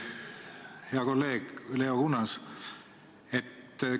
Hea kolleeg Leo Kunnas!